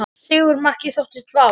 Sigurmarkið þótti vafasamt